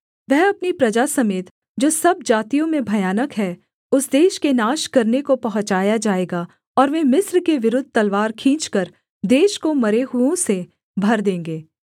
वह अपनी प्रजा समेत जो सब जातियों में भयानक है उस देश के नाश करने को पहुँचाया जाएगा और वे मिस्र के विरुद्ध तलवार खींचकर देश को मरे हुओं से भर देंगे